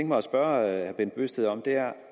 mig at spørge herre bent bøgsted om